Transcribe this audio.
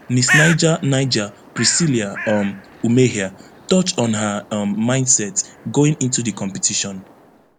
miss niger niger priscillia um umehea touch on her um mindset going into to di competition